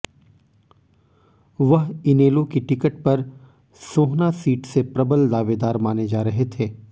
वह इनेलो की टिकट पर सोहना सीट से प्रबल दावेदार माने जा रहे थे